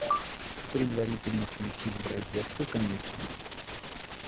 предварительно включив в розетку конечно